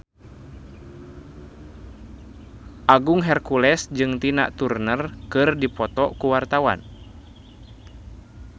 Agung Hercules jeung Tina Turner keur dipoto ku wartawan